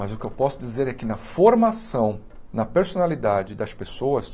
Mas o que eu posso dizer é que na formação, na personalidade das pessoas,